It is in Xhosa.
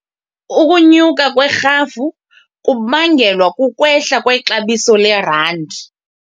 Ukunyuka kwerhafu kubangelwa kukwehla kwexabiso lerandi.